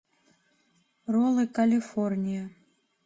роллы калифорния